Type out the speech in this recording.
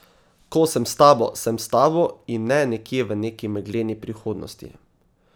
Ko sem s tabo, sem s tabo in ne nekje v neki megleni prihodnosti.